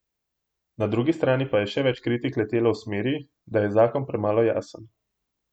Na drugi strani pa je še več kritik letelo v smeri, da je zakon premalo jasen.